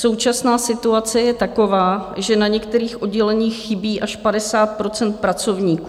Současná situace je taková, že na některých odděleních chybí až 50 % pracovníků.